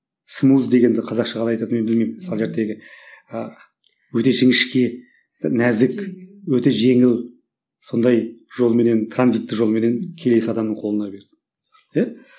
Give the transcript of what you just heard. смуз дегенді қазақша қалай айтатын мен білмеймін мысалы ы өте жіңішке нәзік өте жеңіл сондай жолменен транзиттік жолменен келесі адамның қолына берді иә